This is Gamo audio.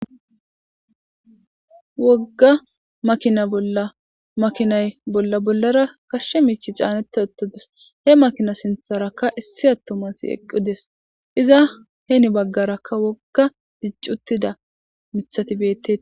Wogga makina bolla makinay bolla bollara kashshe miichi caanette ottodus he makina sintharakka issi attomas eqqudes iza heeni baggarakka wogga diccutida mithatibette.